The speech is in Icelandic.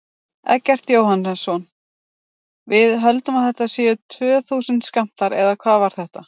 Eggert Jóhannsson: Við höldum að þetta séu tvö þúsund skammtar, eða hvað var þetta?